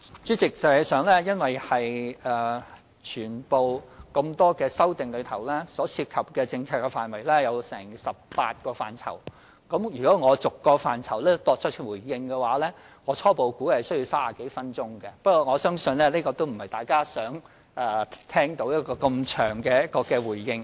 主席，實際上，由於多項修訂案中涉及的政策範圍合共有18個，如果我逐一作出回應，初步估計需時30多分鐘，但我相信大家也不想聽到這麼長的回應。